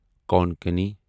Konkani